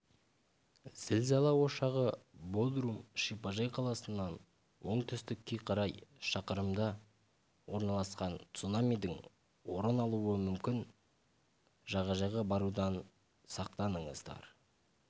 зілзала ошағы бодрум шипажай қаласынан оңтүстікке қарай шақырымда орналасқан цунамидің орын алуы мүмкін жағажайға барудан сақтаныңыздар